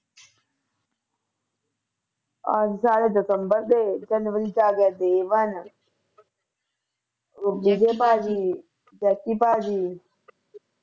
ਅਹ ਸਾਰੇ ਦਸੰਬਰ ਦੇ ਜਨਵਰੀ ਵਿਚ ਆ ਗਿਆ ਉਹ ਵਿਜੈ ਭਾਜੀ jackie ਭਾਜੀ